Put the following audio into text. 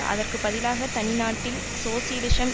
அதற்கு பதிலாக தனி நாட்டில் சோசியலிசம்